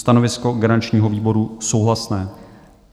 Stanovisko garančního výboru: souhlasné.